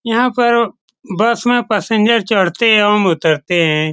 यहां पर बस में पैसेंजर चढ़ते ओम उतरते हैं।